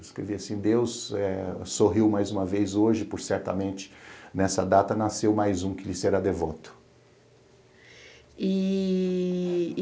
Escrevi assim, Deus eh sorriu mais uma vez hoje, por certamente nessa data nasceu mais um que lhe será devoto. E